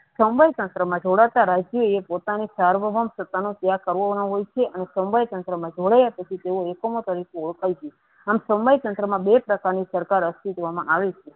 સમવાય તંત્ર માં જોડાતા તે પોતાની પોતાનો ત્યાગ કરવો જે સમવાય તંત્રમાં જોડવાય તેઓ હુકુમત અને સમવાય તંત્રમાં બે સરકાર અસ્તિત્વમાં આવે છે.